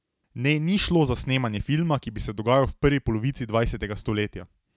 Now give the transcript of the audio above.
Ne, ni šlo za snemanje filma, ki bi se dogajal v prvi polovici dvajsetega stoletja.